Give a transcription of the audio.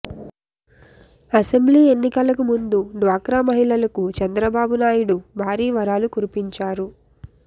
assembly ఎన్నికలకు ముందు డ్వాక్రా మహిళలకు చంద్రబాబు నాయుడు భారీ వరాలు కురిపించారు